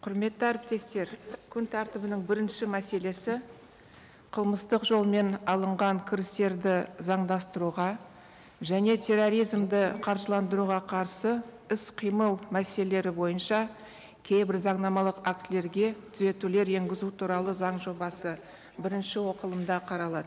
құрметті әріптестер күн тәртібінің бірінші мәселесі қылмыстық жолмен алынған кірістерді заңдастыруға және терроризмді қаржыландыруға қарсы іс қимыл мәселелері бойынша кейбір заңнамалық актілерге түзетулер енгізу туралы заң жобасы бірінші оқылымда қаралады